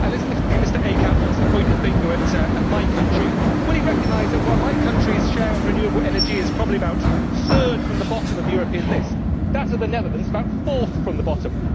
If Mr Eickhout wants to point the finger at my country, will he recognise that, while my country's share of renewable energy is probably about third from the bottom of the European list, that of the Netherlands is about fourth from the bottom?